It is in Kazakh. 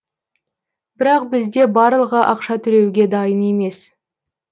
бірақ бізде барлығы ақша төлеуге дайын емес